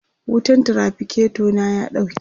wutan traficator na ya ɗauke